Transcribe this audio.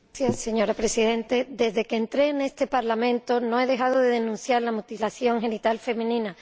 Señora Presidenta, desde que entré en este Parlamento no he dejado de denunciar la mutilación genital femenina.